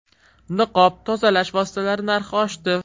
Niqob, tozalash vositalari narxi oshdi.